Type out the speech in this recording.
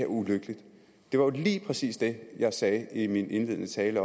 ulykkeligt det var lige præcis det jeg sagde i min indledende tale